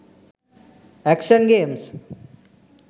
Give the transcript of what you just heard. action games